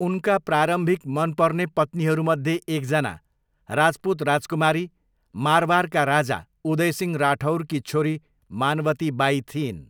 उनका प्रारम्भिक मनपर्ने पत्नीहरूमध्ये एकजना राजपूत राजकुमारी, मारवारका राजा उदयसिंह राठौरकी छोरी मानवती बाई थिइन्।